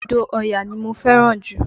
Odò Ọya ní mo fẹ́ràn jù